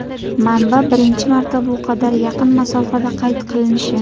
Manba birinchi marta bu qadar yaqin masofada qayd qilinishi.